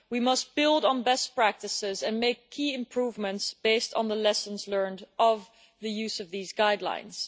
We must build on best practices and make key improvements, based on the lessons learned of the use of these guidelines.